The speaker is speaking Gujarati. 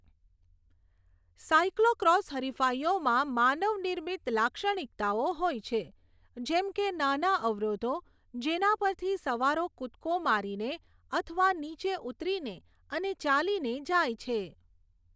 સાઇક્લોક્રોસ હરિફાઇઓમાં માનવ નિર્મિત લાક્ષણિકતાઓ હોય છે, જેમ કે નાના અવરોધો જેના પરથી સવારો કૂદકો મારીને અથવા નીચે ઉતરીને અને ચાલીને જાય છે.